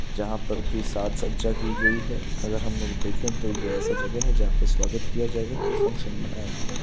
जहाँ पर की साज सज्जा की गई है अगर हम लोग देखें तो यह ऐसा जगह है जहाँ पर स्वागत किया जाएगा कोई फंक्शन मनाया जाएगा।